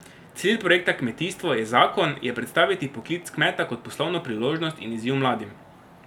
Cilj projekta Kmetijstvo je zakon je predstaviti poklic kmeta kot poslovno priložnost in izziv mladim.